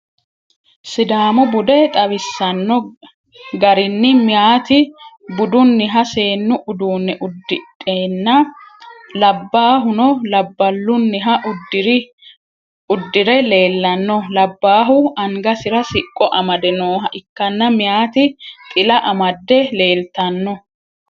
sidaamu bude xawisanno garinni meyaatino budunniha seennu uduunne uddidheenna labbaahuno labbalunniha uddire leelanno, labbaahu angasira siqqo amade nooha ikkanna meyaati xila amadde leeltanno.